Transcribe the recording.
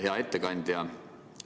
Hea ettekandja!